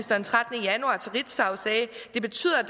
den trettende januar til ritzau sagde at det betyder at